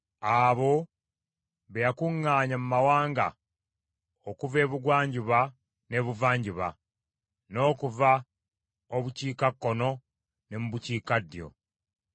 abo be yakuŋŋaanya mu mawanga; okuva Ebugwanjuba n’Ebuvanjuba, n’okuva obukiikakkono ne mu bukiikaddyo.